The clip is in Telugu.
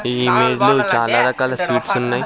ఈ చాలా రకాల స్వీట్స్ ఉన్నాయ్.